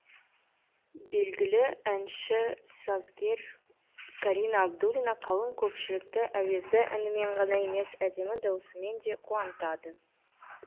белгілі әнші сазгер карина абдуллина қалың көпшілікті әуезді әнімен ғана емес әдемі дауысымен де қуантады